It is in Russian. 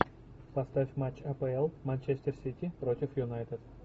поставь матч апл манчестер сити против юнайтед